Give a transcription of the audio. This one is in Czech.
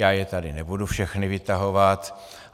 Já je tady nebudu všechny vytahovat.